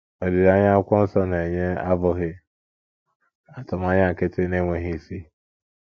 Olileanya akwụkwọ nsọ na - enye abụghị atụmanya nkịtị na - enweghị isi.